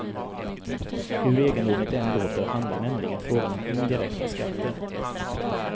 Hur egendomligt det än låter handlar nämligen frågan om indirekta skatter.